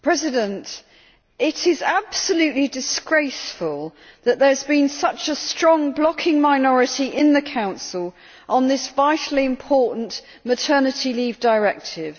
Madam President, it is absolutely disgraceful that there has been such a strong blocking minority in the Council on this vitally important Maternity Leave Directive.